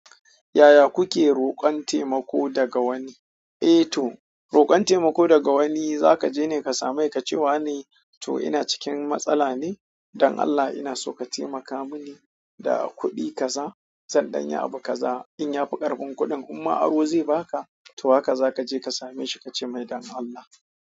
Yaya kuke roƙon taimako daga wani? Eh to, roƙon taimako daga wani za kaje ne ka same ka ce wa ne "to ina cikin matsala ne, don Allah ina so ka taimaka mini" da kuɗi kaza zan danyi abu kaxa in ya fi ƙarfin kuɗin imma aro zai baka, to haka za ka je ka same shi ka ce mai don Allah.